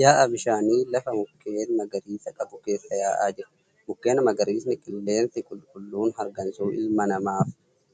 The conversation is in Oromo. Yaa'a bishaanii lafa mukeen magariisa qabu keessa yaa'aa jiru. Mukeen magariisni qilleensi qulqulluun hargansuu ilma namaaf